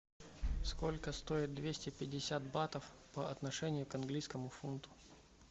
сколько стоит двести пятьдесят батов по отношению к английскому фунту